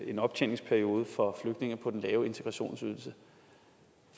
en optjeningsperiode for flygtninge på den lave integrationsydelse